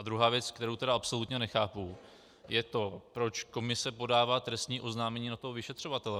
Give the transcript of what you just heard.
A druhá věc, kterou tedy absolutně nechápu, je to, proč komise podává trestní oznámení na toho vyšetřovatele.